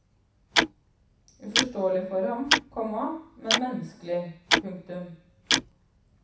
Uforståelig for ham, komma men menneskelig. punktum